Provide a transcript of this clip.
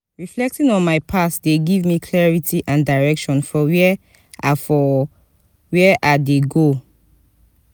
reflecting on my past dey give me clarity and direction for where i for where i dey go.